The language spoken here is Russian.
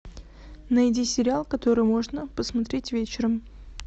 найди сериал который можно посмотреть вечером